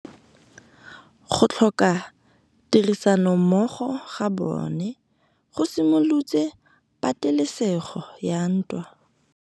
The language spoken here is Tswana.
Go tlhoka tirsanommogo ga bone go simolotse patêlêsêgô ya ntwa.